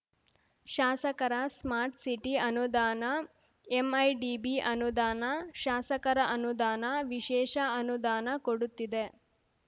ಶಾಸಕರ smart city ಅನುದಾನ MIDB ಅನುದಾನ ಶಾಸಕರ ಅನುದಾನ ವಿಶೇಷ ಅನುದಾನ ಕೊಡುತ್ತಿದೆ